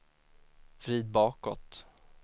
vrid bakåt